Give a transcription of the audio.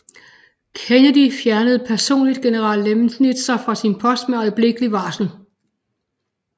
Kennedy fjernede personligt general Lemnitzer fra sin post med øjeblikkelig varsel